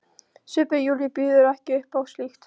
Svipur Júlíu býður ekki upp á slíkt.